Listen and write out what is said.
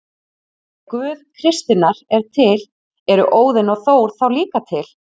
Ef Guð kristninnar er til, eru Óðinn og Þór þá líka til?